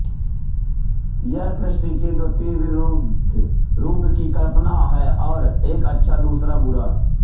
यह सृष्टि के द्विविरुद्ध रूप की कल्पना है एक अच्छा और दूसरा बुरा